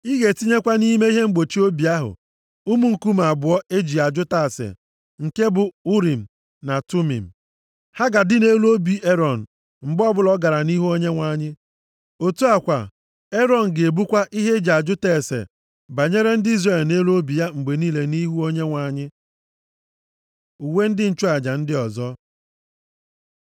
Ị ga-etinyekwa nʼime ihe mgbochi obi ahụ ụmụ nkume abụọ e ji ajụta ase nke bụ Urim na Tumim. + 28:30 Urim na Tumim bụ nkume e ji ajụta ase, na ntụziaka site nʼebe Chineke nọ. Ha ga-adị nʼelu obi Erọn mgbe ọbụla ọ gara nʼihu Onyenwe anyị. Otu a kwa, Erọn ga-ebukwa ihe e ji ajụta ase banyere ndị Izrel nʼelu obi ya mgbe niile, nʼihu Onyenwe anyị. Uwe ndị nchụaja ndị ọzọ